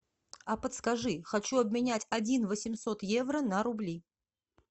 а подскажи хочу обменять один восемьсот евро на рубли